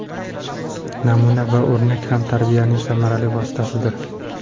Namuna va o‘rnak ham tarbiyaning samarali vositasidir.